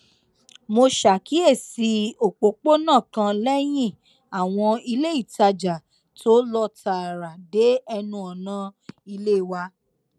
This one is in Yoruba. mo ṣàkíyèsí òpópónà kan léyìn àwọn iléìtajà tó lọ tààrà dé ẹnu ọnà ilé wa